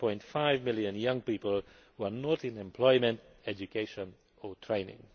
7.5 million young people who are not in employment, education or training.